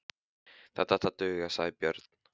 Þetta ætti að duga, sagði Björn.